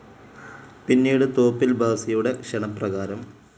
പിന്നീട് തോപ്പിൽ ഭാസിയുടെ ക്ഷണപ്രകാരം.